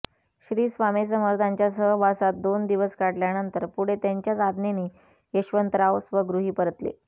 श्रीस्वामीसमर्थांच्या सहवासात दोन दिवस काढल्यानंतर पुढे त्यांच्याच आज्ञेने यशवंतराव स्वगृही परतले